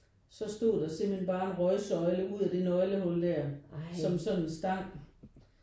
Så stod der simpelthen bare en røgsøjle ud af det nøglehul der som sådan stank